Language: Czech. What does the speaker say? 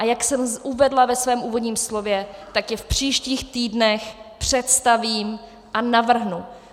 A jak jsem uvedla ve svém úvodním slově, tak je v příštích týdnech představím a navrhnu.